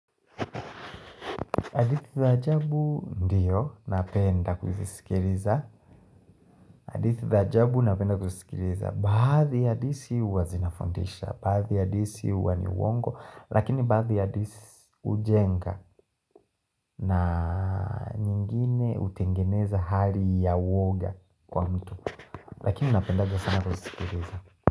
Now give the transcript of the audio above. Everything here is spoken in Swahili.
Hadithi za ajabu, ndio, napenda kuzisikiliza hadithi za ajabu, napenda kuzisikiliza Baadhi hadithi uwa zinafundisha Baadhi hadithi uwa niuongo Lakini baadhi hadithi ujenga na nyingine utengeneza hali ya woga kwa mtu Lakini napenda kuzisikiliza.